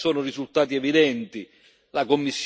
il Parlamento, credo, sia stato sempre pronto